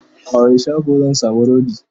a wani shago zan samu rodi?